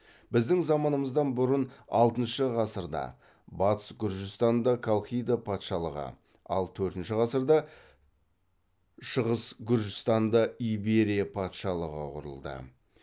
біздің заманымыздан бұрын алтыншы ғасырда батыс гүржістанда колхида патшалығы ал төртінші ғасырда шығыс гүржістанда иберия патшалығы құрылды